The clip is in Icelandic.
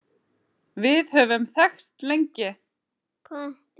Við höfum þekkst lengi